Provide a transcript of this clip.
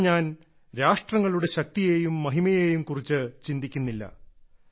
ഇവിടെ ഞാൻ രാഷ്ട്രങ്ങളുടെ ശക്തിയെയും മഹിമയെയും കുറിച്ച് ചിന്തിക്കുന്നില്ല